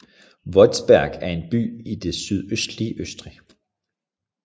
Voitsberg er en by i det sydøstlige Østrig